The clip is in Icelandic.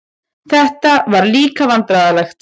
Þetta var líka vandræðalegt.